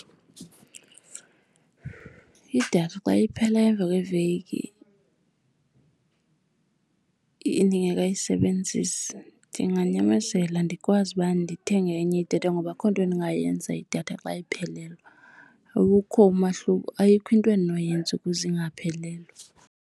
Idatha xa iphela emva kweveki ndingekayisebenzisi ndinganyamezela ndikwazi uba ndithenge enye idatha ngoba akukho nto endingayenza idatha xa iphelelwa. Awukho umahluko, ayikho into endinoyenza ukuze ingaphelelwa.